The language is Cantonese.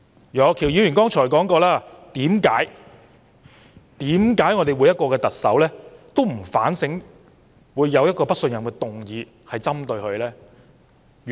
楊岳橋議員剛才提到，每位特首面對針對自己的"不信任"議案，為何都不作反省？